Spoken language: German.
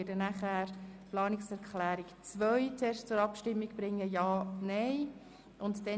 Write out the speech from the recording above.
Dann werden wir die beiden Planungserklärungen zum AFP 2019–2021, das heisst die Planungserklärungen 1 und 3, einander gegenüberstellen.